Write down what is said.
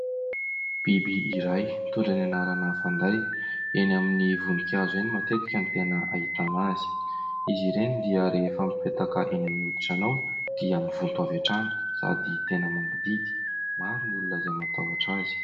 Biby iray nitondra ny anarana fanday eny amin'ny voninkazo ihany matetika ny tena ahitana azy. Izy ireny dia rehefa mipetaka eny amin'ny hoditranao dia mivonto avy hatrany sady tena mangidihidy ; maro ny olona izay matahotra azy.